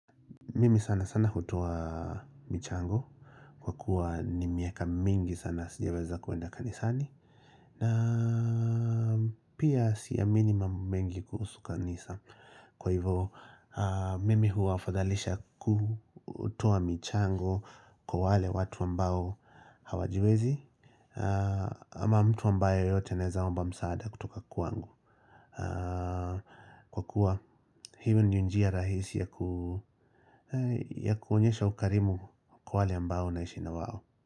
Mimi sana sana hutoa michango kwa kuwa ni miaka mingi sana sijaweza kuenda kanisani na pia siamini mambo mengi kuhusu kanisa kwa hivyo mimi huafadhalisha kutoa michango kwa wale watu ambao hawajiwezi ama mtu ambaye yeyote anaweza omba msaada kutoka kwangu. Kwa kuwa hivyo ni njia rahisi ya kuonyesha ukarimu kwa wale ambao unaishi na wao.